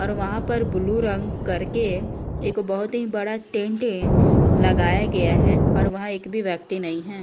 और वहां पर ब्लू रंग करके एक बहोत ही बड़ा टेंट है लगाया गया है और वहां एक भी व्यक्ति नहीं है।